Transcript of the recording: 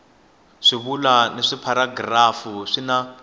swivulwa na tipharagirafu swi na